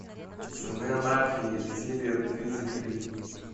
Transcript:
сыны анархии серия тридцать три